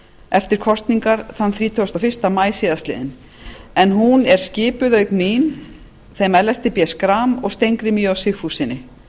eftir kosningarnar þrítugasta og fyrsta maí síðastliðinn en hún er skipuð auk mín þeim ellerti b schram og steingrími j sigfússyni